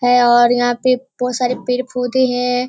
है और यहाँ पर बहुत सारे पेड़ पौधे हैं |